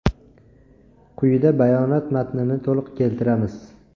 Quyida bayonot matnini to‘liq keltiramiz.